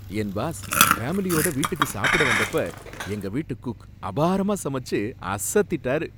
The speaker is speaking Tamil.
என் பாஸ் ஃபேமிலியோட வீட்டுக்கு சாப்பிட வந்தப்ப எங்கவீட்டு குக் அபாரமா சமைச்சு அசத்திட்டாரு.